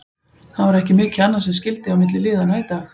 Það var ekki mikið annað sem skyldi á milli liðanna í dag.